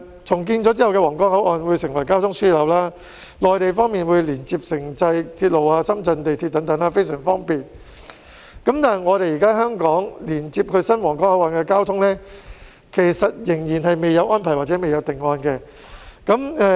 重建後的皇崗口岸將成為交通樞紐，內地方面會連接城際鐵路及深圳地鐵等，非常方便，但現時香港仍然未有連接至新皇崗口岸的安排或定案。